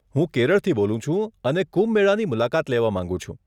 હું કેરળથી બોલું છું અને કુંભ મેળાની મુલાકાત લેવા માંગું છું.